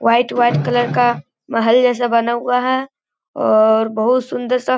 white white colour का महल जैसा बना हुआ है और बोहुत सुन्दर सा --